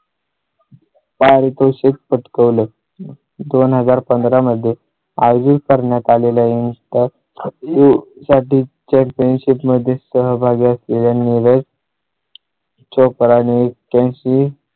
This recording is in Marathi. पारितोषिक पटकवलं दोन हजार पंधरा मध्ये आयोजित करण्यात आलेली आहे. तर तू साठी चे championship मध्ये सहभागी असलेल्या निळू. चोप्रा ने एक्या